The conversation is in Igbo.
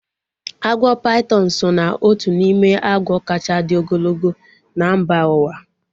Agwọ paitọn so ná otu n'ime agwọ kacha dị ogologo na mba uwa